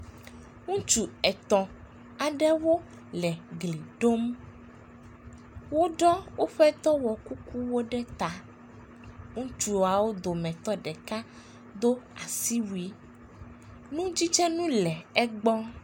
Ŋutsu etɔ̃ aɖewo le gli ɖom. Woɖɔ woƒe dɔwɔkukuwo ɖe ta. Ŋutsuawo dometɔ ɖeka do asiwui, nudzidzinu le egbɔ.